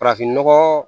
Farafinnɔgɔ